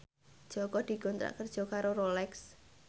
Jaka dikontrak kerja karo Rolex